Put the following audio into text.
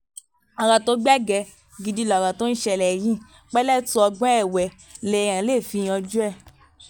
ọ̀rọ̀ tó gbẹgẹ́ gidi lọ̀rọ̀ tó ń ṣẹlẹ̀ yìí pẹ̀lẹ́tù ọgbọ́n ẹ̀wẹ́ lèèyàn lè fi yanjú ẹ̀